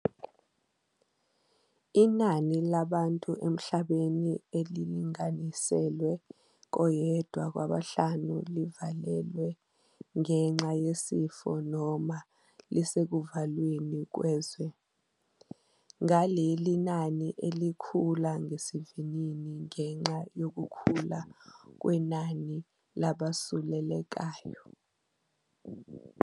Inani labantu emhlabeni elili-nganiselwa koyedwa kwabahlanu livalelwe ngenxa yesifo noma lisekuvalweni kwezwe, ngaleli nani elikhula ngesivinini ngenxa yokukhula kwenani labasulelekayo.